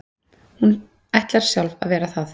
Hún ætlar sjálf að vera það.